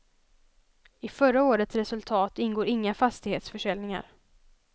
I förra årets resultat ingår inga fastighetsförsäljningar.